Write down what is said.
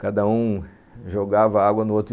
Cada um jogava água no outro.